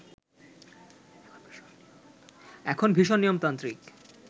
এখন ভীষণ নিয়মতান্ত্রিক